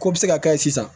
K'o bɛ se ka kɛ sisan